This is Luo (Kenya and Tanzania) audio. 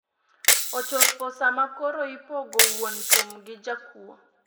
Ochopo sama koro ipogo wuon thum gi jakuo.